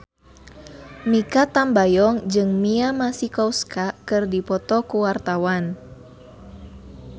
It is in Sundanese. Mikha Tambayong jeung Mia Masikowska keur dipoto ku wartawan